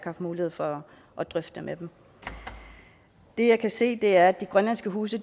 haft mulighed for at drøfte med dem det jeg kan se er at de grønlandske huse